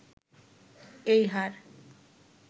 এই হার